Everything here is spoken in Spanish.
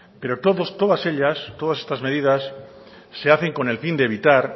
pero todas estas medidas se hacen con el fin de evitar